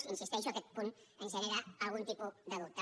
hi insisteixo aquest punt ens genera algun tipus de dubte